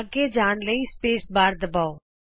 ਅੱਗੇ ਜਾਣ ਲਈ ਸਪੇਸ ਬਾਰ ਦਬਾਓ